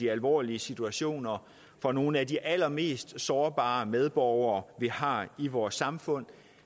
alvorlige situationer for nogle af de allermest sårbare medborgere vi har i vores samfund